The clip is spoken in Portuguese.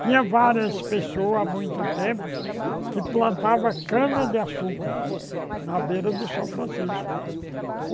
Tinha várias pessoas há muito tempo que plantavam cana-de-açúcar na beira do São Francisco.